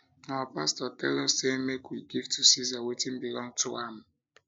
our pastor tell us say make we give to ceasar wetin belong to am